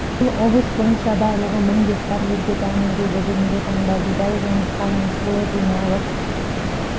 биыл облыс бойынша барлығы мың гектар жерге дән егілді бүгінгі таңда бидай жоңышқа мен сұлы жиналып